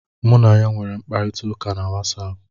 Mụ na ya nwere mkparịta ụka na Watsaapụ.